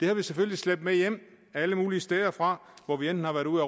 har vi selvfølgelig slæbt med hjem alle mulige steder fra hvor vi enten har været ude